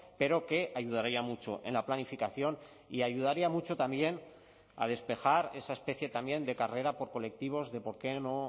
pero que ayudaría mucho en la planificación y ayudaría mucho también a despejar esa especie también de carrera por colectivos de por qué no